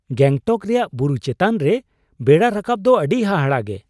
ᱜᱮᱝᱴᱚᱠ ᱨᱮᱭᱟᱜ ᱵᱩᱨᱩ ᱪᱮᱛᱟᱱ ᱨᱮ ᱵᱮᱲᱟ ᱨᱟᱠᱟᱵ ᱫᱚ ᱟᱹᱰᱤ ᱦᱟᱦᱟᱲᱟᱜᱼᱜᱮ ᱾